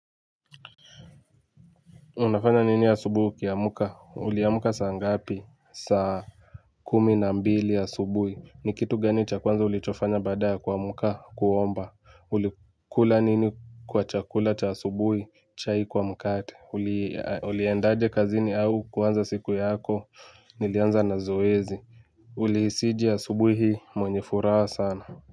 Unafanya nini asubuhi ukiamka? Uliamka saa ngapi? Saa kumi na mbili asubuhi. Ni kitu gani cha kwanza ulichofanya baada kuamka kuomba. Uli kula nini kwa chakula cha asubuhi chai kwa mkate. Uli endaje kazini au kuanza siku yako. Nilianza na zoezi. Ulihisije asubuhi mwenye furaha sana.